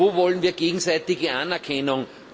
Wo wollen wir gegenseitige Anerkennung?